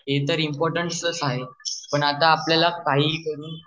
ते तर इंपोर्टेंटच आहे पण आता आपल्याला काहीही करून